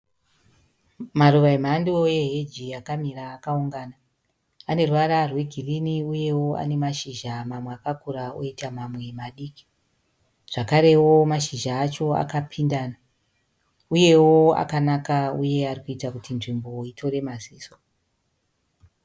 Maruva emhando yeheji yakamira akaungana. Aneruvara rwegirini uyewoane mashizha msmwe akakura oita mamwe madiki. Zvakarewo mashizha acho akapindana uyewo akanaka arikuita kuti nzvimbo itore maziso.